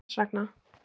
Og hvers vegna?